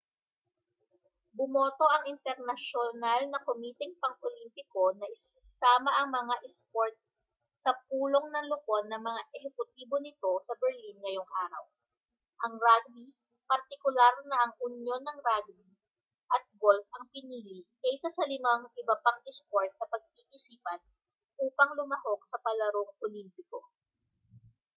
bumoto ang internasyonal na komiteng pang-olympiko na isama ang mga isport sa pulong ng lupon ng mga ehekutibo nito sa berlin ngayong araw ang rugby partikular na ang unyon ng rugby at golf ang pinili kaysa sa limang iba pang isport na pag-iisipan upang lumahok sa palarong olimpiko